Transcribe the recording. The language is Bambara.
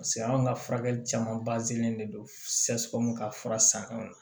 Paseke anw ka furakɛli caman de don ka fura sanw na